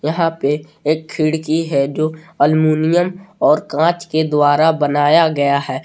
यहां पे एक खिड़की है जो एल्यूमिनियम और कांच के द्वारा बनाया गया है।